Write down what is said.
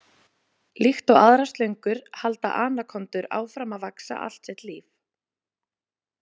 Líkt og aðrar slöngur halda anakondur áfram að vaxa allt sitt líf.